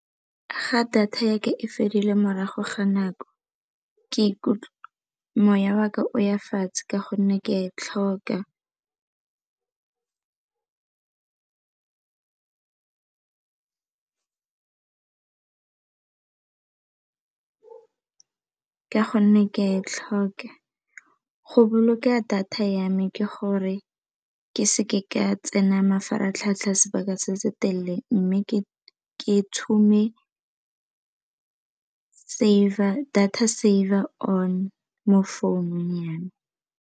Fa data ya ka e fedile morago ga nako moya wa ka o ya fatshe ka gonne ke e tlhoka, go boloka data ya me ke gore ke seke ka tsena mafaratlhatlha sebaka se se telele mme ke tshume data saver on mo founung ya me.